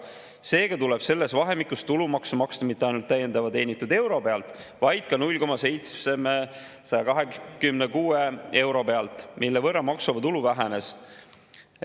Seega tuleb selles vahemikus tulumaksu maksta mitte ainult täiendava teenitud euro pealt, vaid ka 0,726 euro pealt, mille võrra maksuvaba tulu vähenes.